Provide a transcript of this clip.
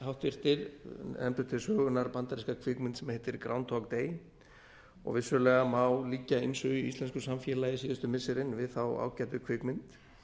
háttvirtur nefndu til sögunnar bandaríska kvikmynd sem heitir groundhog day og vissulega má líkja ýmsu í íslensku samfélagi síðustu missirin við þá ágætu kvikmynd